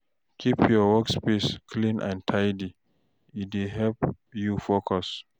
Keep your workspace clean and tidy, e dey help you focus.